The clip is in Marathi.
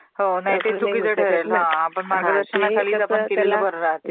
हो .. नाही ते चुकीच ठरेल हां! आपण मार्गदर्शनाखाली जर!! ping conversation